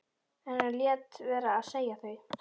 En hann lét vera að segja þau.